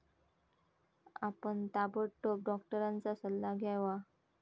आपण ताबडतोब डॉक्टरांचा सल्ला घ्यावा.